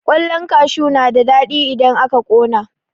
Ƙwallan kashu na da daɗi in aka ƙona.